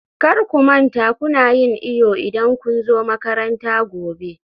kar ku manta kuna yin iyo idan kun zo makaranta gobe